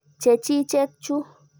Che chiket chu.